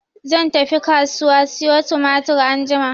Zan tafi kasuwa siyo tumatir anjima.